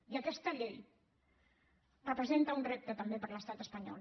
i aquesta llei representa un repte també per a l’estat espanyol